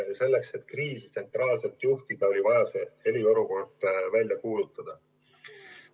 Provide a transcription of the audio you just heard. Selleks et kriisi tsentraalselt juhtida, oli vaja eriolukord välja kuulutada.